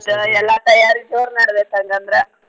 ಎಲ್ಲಾ ತಯಾರಿ ಜೋರ್ ನಡ್ದೈತ್ ಹಂಗಂದ್ರ.